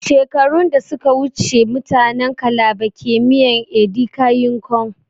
Shekaru da suka wuce mutanin kalaba ke miyan ( edika yin kon)